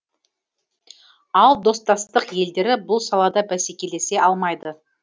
ал достастық елдері бұл салада бәсекелесе алмайды